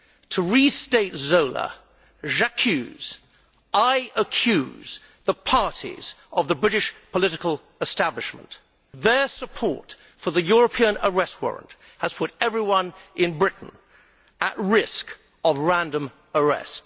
To restate Zola, J'accuse I accuse the parties of the British political establishment their support for the European Arrest Warrant has put everyone in Britain at risk of random arrest.